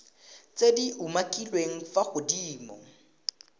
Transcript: tse di umakiliweng fa godimo